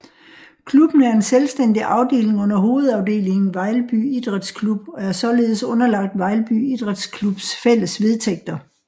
Klubben er en selvstændig afdeling under hovedafdelingen Vejlby Idræts Klub og er således underlagt Vejlby Idræts Klubs fælles vedtægter